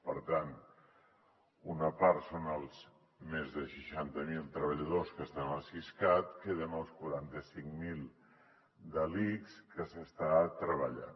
per tant una part són els més de seixanta mil treballadors que estan al siscat queden els quaranta cinc mil de l’ics que s’hi està treballant